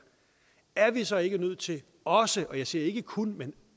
er vi så ikke nødt til også jeg siger ikke kun men